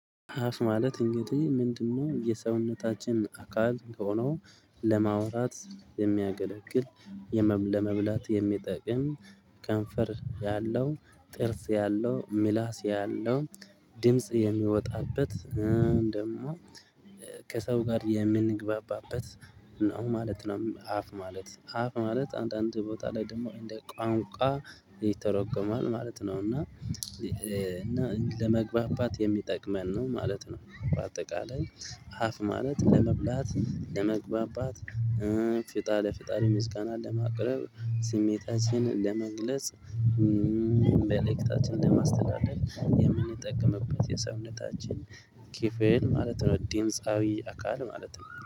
አፍ ማለት እንግዲህ ምንድነው? የሰውነታችን አካል ከሆነው ለማውራት የሚያገለግል ለመብላት የሚጠቅም ከንፈር ያለው ጥርስ ያለው ምላስ ያለው ድምጽ የሚወጣበት ደግሞ ከሰው ጋር የምንግባባበት ነው ማለት ነው። አፍ ማለት አፍ ማለት አንዳንድ ቦታ ላይ ደግሞ እንደ ቋንቋ ይተረጎማል ማለት ነው። እና ለመግባባት የሚጠቅመን ነው ማለት ነው። በአጠቃላይ አፍ ማለት ለመብላት ለመግባባት ለፍጣሪ ምስጋናን ለማቅረብ ስሜታችንን ለመግለጽ መልዕክታችን ለማስተላለፍ የምንጠቀምበት የሰውነታችን ክፍል ማለት ነው። ዲምፃዊ አካል ማለት ነው